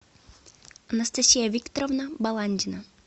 анастасия викторовна баландина